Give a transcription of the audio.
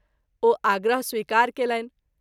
ओ आग्रह स्वीकार कएलनि।